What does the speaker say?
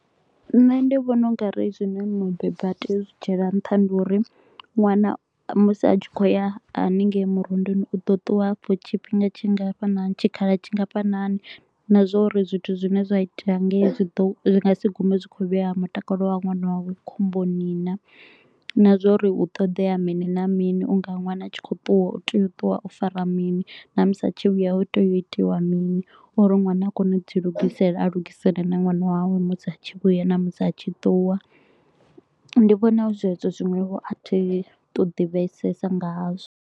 Nṋe ndi vhona u nga ri zwine mubebi a tea u zwi dzhiela nṱha ndi uri ṅwana musi a tshi kho u ya haningei murunduni, u ḓo ṱuwa afho tshifhinga tshingafhanani tshikhala tshingafhanani. Na zwa uri zwithu zwine zwa itea hangei zwi nga si gume zwi khou vhea mutakalo wa ṅwana wavho khomboni naa. Na zwa uri hu ṱoḓea mini na mini u nga ṅwana a tshi kho u ṱuwa, u tea u ṱuwa o fara mini na musi a tshi yo vhuya hu tea u itiwa mini uri ṅwana a kone u dzi lugisela. A lugisele na ṅwana wawe musi a tshi vhuya na musi a tshi ṱuwa, ndi vhona hu zwezwo zwiṅwevho a thi tu ḓivhesesa nga hazwo.